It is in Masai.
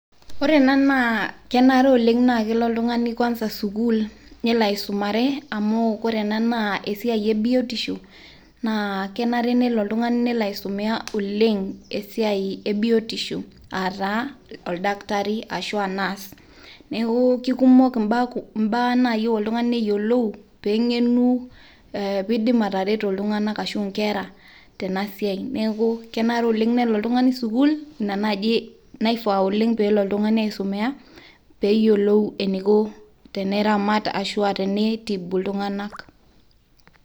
Ore ena naa kenare tenaa kelo oltung'ani kwanza sukuul, aisumare amu ore ena naa esiai ebiotisho, naa kenare nelo oltungani nelo aisumia oleng'. Aa taa oldakitari ashua nurse neaku keikumok imbaa nayieu oltungani neyiolou pee eng'enu pee eidim atereto iltung'anak, ashu inkera tena siai. Neaku kenare oleng' nelo oltung'ani sukuul, ina naaji neifaa oleng pee elo oltungani aisumia pee eyiolou eneiko teneramat ashua teneitibu iltung'anak.